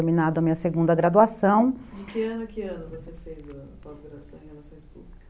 a segunda graduação. De que ano a que ano você fez a pós-graduação?